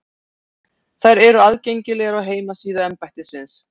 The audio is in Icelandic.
Þær eru aðgengilegar á heimasíðu embættisins